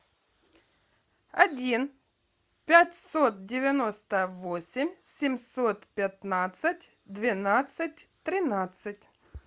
один пятьсот девяносто восемь семьсот пятнадцать двенадцать тринадцать